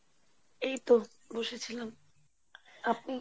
এইত বসেছিলাম আপনি?